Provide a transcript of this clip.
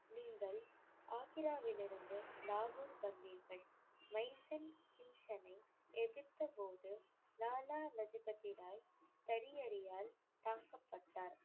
ஆக்ராவிலிருந்து லாகூர் வந்தீர்கள். எதிர்த்தபோது லாலா லஜபதி ராய் தரியறியால் தாக்கப்பட்டார்.